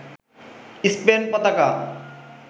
Spain পতাকা